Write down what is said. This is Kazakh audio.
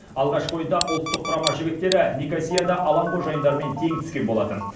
алғашқы ойында ұлттық құрама жігіттері никосияда алаң қожайындарымен тең түскен болатын